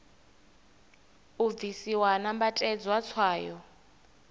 u bvisiwa ha nambatedzwa tswayo